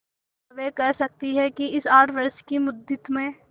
क्या वे कह सकती हैं कि इस आठ वर्ष की मुद्दत में